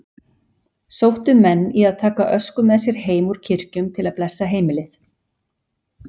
Sóttu menn í að taka ösku með sér heim úr kirkjum til að blessa heimilið.